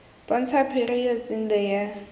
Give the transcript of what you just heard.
bontsha periods in the year